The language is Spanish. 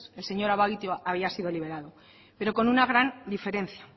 el señor abaitua había sido liberado pero con una gran diferencia